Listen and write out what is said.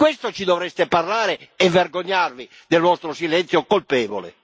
Di questo ci dovreste parlare, e vergognarvi del vostro silenzio colpevole.